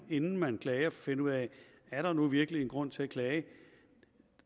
inden man klager og finde ud af er der nu virkelig en grund til at klage